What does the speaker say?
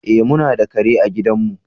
Eh, mu na da kare a gidan mu.